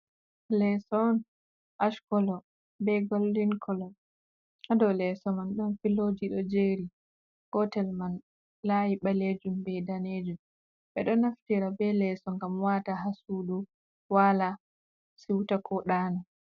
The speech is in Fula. Leeso on ashkolo be goldin kolo, hadow leso man ɗon filoji ɗo jeri, gotel man layi ɓalejum be danejum. ɓeɗo naftira be leso ngam wata hasudu, wala siuta ko ɗana.